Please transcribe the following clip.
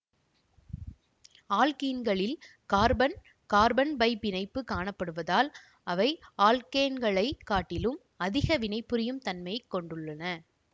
ஆல்க்கீன்களில் carbon carbon pi பிணைப்பு காணப்படுவதால் அவை ஆல்க்கேன்களைக் காட்டிலும் அதிக வினைபுரியும் தன்மையை கொண்டுள்ளன